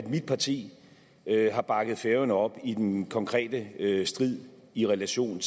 mit parti har bakket færøerne op i den konkrete strid i relation